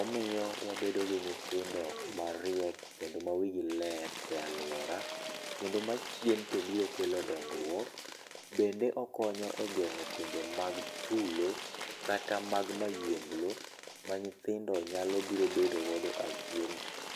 Omiyo wabedo gi nyithindo mariek kendo mawigi ler e aluora, kendo ma achien to biro kelo dongruok. Bende okonyo e geng'o timbe mag tulo, kata mag mahienglo manyithindo nyalo biro bedo godo achien.